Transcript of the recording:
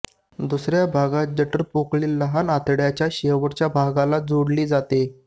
दुसऱ्या भागात जठरपोकळी लहान आतडय़ाच्या शेवटच्या भागाला जोडली जाते